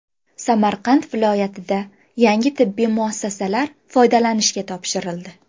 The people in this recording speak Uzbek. Samarqand viloyatida yangi tibbiy muassasalar foydalanishga topshirildi.